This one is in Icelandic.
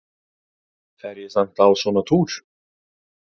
Fer ég samt á svona túr?